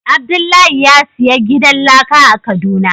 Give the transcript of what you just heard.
Abdullahi ya siya gidan laka a kaduna.